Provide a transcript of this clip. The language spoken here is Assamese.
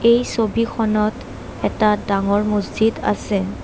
এই ছবিখনত এটা ডাঙৰ মছজিত আছে।